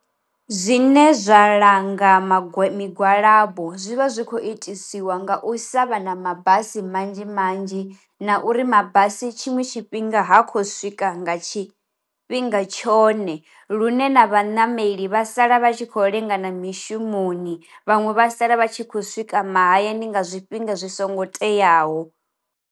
Zwine zwa langa magwe migwalabo zwi vha zwikho itisiwa nga u sa vha na mabasi manzhi manzhi na uri mabasi tshiṅwe tshifhinga ha khou swika nga tshifhinga tshone, lune na vhanameli vha sala vha tshi kho lenga na mishumoni vhaṅwe vha sala vha tshi kho swika mahayani nga zwifhinga zwi songo teaho.